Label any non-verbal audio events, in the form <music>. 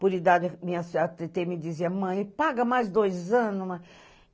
Por idade, minhas <unintelligible> me dizia, mãe, paga mais dois anos, mãe